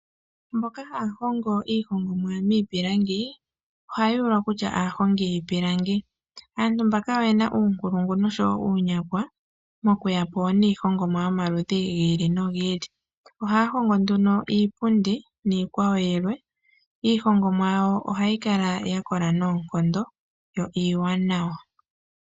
Mboka ha ya hongo iihongomwa miipilangi, oha ya ulwa kutya aahongi yiipilangi. Aantu mbala oyena uunkulungu osho woo uunyakwa, mo ku yapo niihongomwa yomaludhi gi ili no gi ili. Oha ya hongo nduno iipundi niikwawo yilwe. Iihongomwa yawo oha yi kala ya kola noonkondo yo iiwanawa.